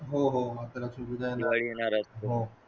हो हो आता लक्ष्मीची पूजा येणार पूजा येणारच